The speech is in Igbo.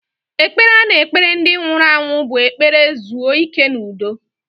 Ekpere a na-ekpere ndị nwụrụ anwụ bụ ekpere zuo ike n'udo.